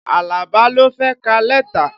Alaba ló fẹ́ ka lẹ́tà